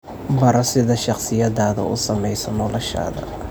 Baro sida shakhsiyaddaadu u saameyso noloshaada.